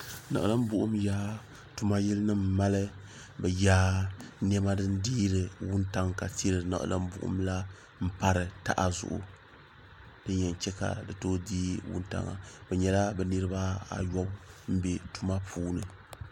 Niɣilim buɣum tuma yili nima mali bɛ yaa niɛma din deeri wuntaŋa ka tili niɣilim buɣum la m pari taha zuɣu din yen cheka di too dee wuntaŋa bɛ nyɛla bɛ niriba ayobu m be tuma puuni.